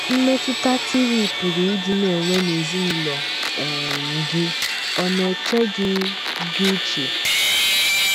Mmetụta TV pụrụ ịdị na - enwe n’ezinụlọ um gị ọ̀ na - eche gị gị uche?